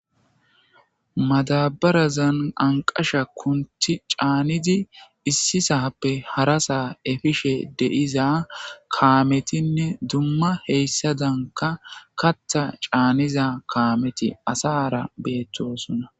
Madabarazani aniqasha kunthi canidi issi sape harasa hefishe de'eza kametine duma duma hesadanika katha canida kameti asra betosona